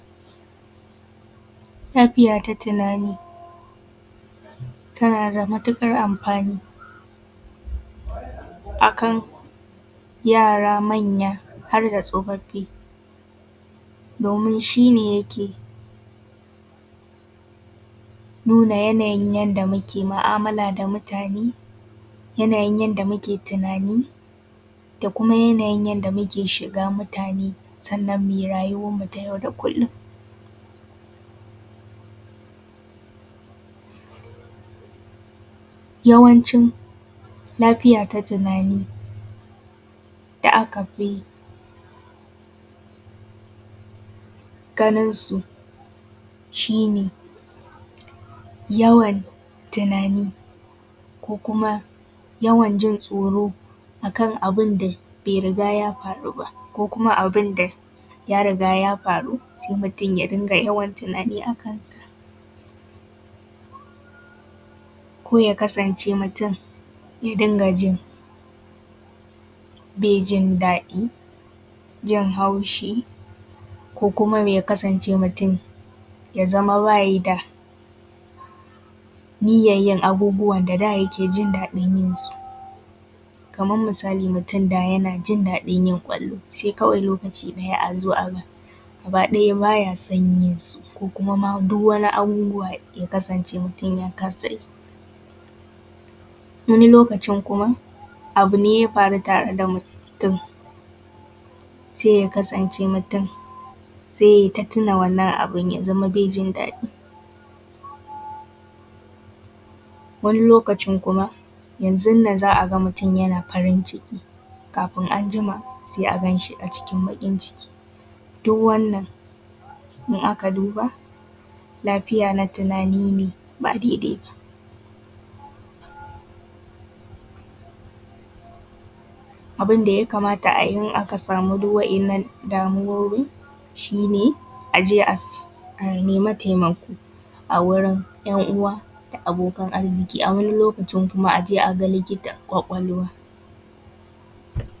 Lafiya ta tunani tana da matuƙar amfani a kan yara, manya, har da tsofaffi, domin shi ne yake nuna yanayin yadda muke mu'amala da mutane, yanayin yadda muke tunani, da kuma yanayin yanda muke shiga mutane, sannan mu yi rayuwan mu ta yau da kullum. Yawancin lafiya ta tunani da aka fi ganinsu shi ne yawan tunani, ko kuma yawan jin tsoro a kan abun da bai riga ya faru ba, ko kuma abun da ya riga ya faru, sai mutum ya dinga yawan tunani a kansa ko ya kasance mutum ya dinga jin bai jin daɗi, jin haushi, ko kuma ya kasance mutum ya zama ba yi da niyyan yin abubuwa da ya ke jin daɗi yin su. Kaman misali mutum da yana jin daɗin yin ƙwallo sai kawai lokaci ɗaya a zo a ga gaba ɗaya ba ya son yin su, ko kuma ma duk wani abubuwa ya kasance mutum ya kasa yi. Wani lokacin kuma abu ne ya faru tare da mutum sai ya kasance mutum sai yai ta tuna wannan abu, ya zama bai jin daɗi. Wani lokaci kuma yanzun nan za a ga mutum yana farin ciki, kafin anjima sai a gan shi a cikin baƙin ciki. Duk wannan in aka duba lafiya na tunani ne ba dai dai ba. Abun da ya kamata a yi in aka samu duk wa’innan damuwoyin shi ne aje a nema taimako a wurin ‘yan uwa da abokan arziki a wani lokacin kuma a je a ga likitan ƙwaƙwalwa.